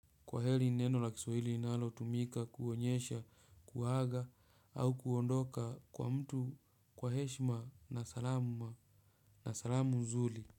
Kwaheri ni neno la kiswahili linalotumika kuonyesha kuaga au kuondoka kwa mtu kwa heshima na salamu nzuri.